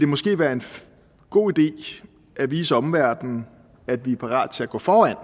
måske være en god idé at vise omverdenen at vi er parate til at gå foran